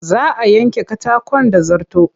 Za a yanke katakon da zarto.